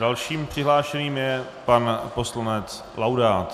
Dalším přihlášeným je pan poslanec Laudát.